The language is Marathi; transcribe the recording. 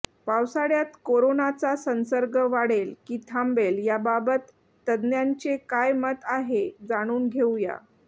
पावसाळ्यात कोरोनाचा संसर्ग वाढेल की थांबेल याबाबत तज्ञांचे काय मत आहे जाणून घेऊया